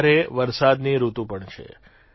અત્યારે વરસાદની ઋતુ પણ છે